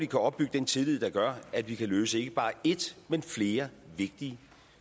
kan opbygge den tillid der gør at vi kan løse ikke bare ét men flere vigtige